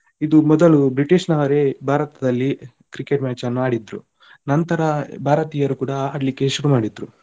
ಇದು ಮೊದಲು British ನವರೇ ಭಾರತದಲ್ಲಿ Cricket match ಅನ್ನು ಆಡಿದ್ರು ನಂತರ ಭಾರತೀಯರು ಕೂಡ ಆಡ್ಲಿಕ್ಕೆ ಶುರು ಮಾಡಿದ್ರು